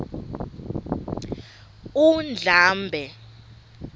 undlambe